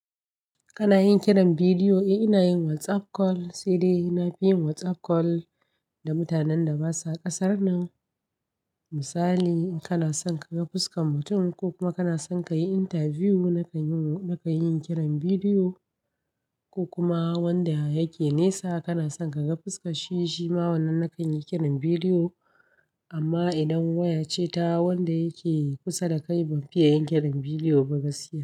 Kana yin kiran bidiyo, ina yin WhatsApp call sai dai ina fi yin WhatsApp call da mutanen da ba su a kasar nan. Misali in kana son ka ga fuskan mutum ko kuma kana son ka yi interview, na ka yi, na ka yi kiran bidiyo ko kuma wanda yake nesa kana son ka ga fuska shi, shi ma wannan na kan yi kiran bidiyo. Amma idan waya ce ta wanda yake kusa da kai, ban fi iya yin kiran bidiyo ba gaskiya.